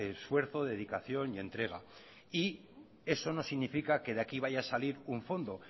esfuerzo dedicación y entrega y eso no significa que de aquí vaya a salir un fondo